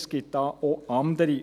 Es gibt da auch andere.